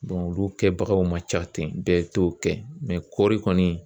olu kɛbagaw man ca ten bɛɛ t'o kɛ kɔɔri kɔni